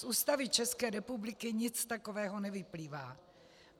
Z Ústavy České republiky nic takového nevyplývá.